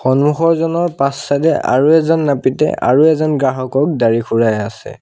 সন্মুখৰ জনৰ পাছ চাগে আৰু এজন নাপিতে আৰু এজন গ্ৰাহকক দাড়ি খুৰাই আছে।